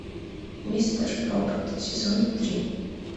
мистер робот сезон три